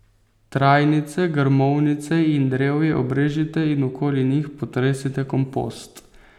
Trajnice, grmovnice in drevje obrežite in okoli njih potresite kompost.